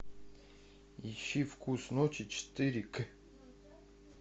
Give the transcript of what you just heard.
ищи вкус ночи четыре к